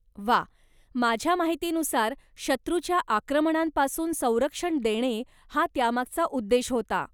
वा! माझ्या माहितीनुसार शत्रूच्या आक्रमणांपासून संरक्षण देणे हा त्यामागचा उद्देश होता.